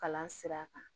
Kalan sira kan